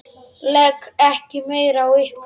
Legg ekki meira á ykkur!